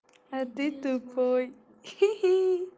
а ты тупой ха-ха